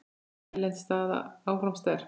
Hrein erlend staða áfram sterk.